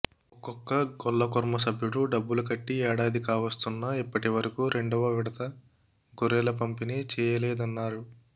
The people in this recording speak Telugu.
ఒక్కొక్క గొల్ల కుర్మ సభ్యుడు డబ్బులు కట్టి ఏడాది కావస్తున్నా ఇప్పటి వరకు రెండవ విడత గొర్రెల పంపిణీ చేయలేదన్నారు